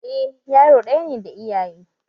Eh yaro ɗaya ne da iyaye